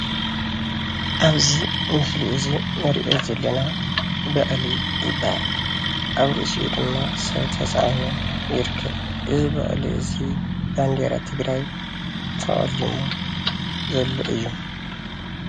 ኣብዚ ምስሊ እዚ እንሪኦ ዘለና በቅሊ ይባሃል፡፡ ኣብ ርእሱኡ ድማ ሰብ ተፃዒኑ ይርከብ፡፡ እዚ በቅሊ እዚ በንደራ ትግራይ ተቀሊሙ ዘሎ እዩ፡፡